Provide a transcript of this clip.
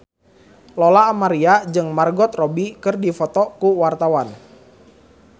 Lola Amaria jeung Margot Robbie keur dipoto ku wartawan